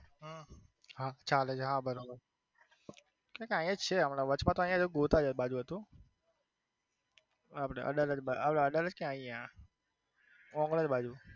હમ હા ચાલે છે હા બરોબર આયા જ છે હમણાં વચમાં આયા જ ગોતા બાજુ જ હતું આપડે અડાલજ અડાલજ ક્યાં આયા ઓગણજ બાજુ